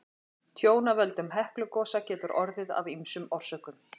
Tjón af völdum Heklugosa getur orðið af ýmsum orsökum.